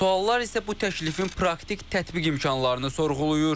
Suallar isə bu təklifin praktik tətbiq imkanlarını sorğulayır.